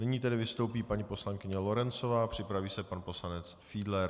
Nyní tedy vystoupí paní poslankyně Lorencová, připraví se pan poslanec Fiedler.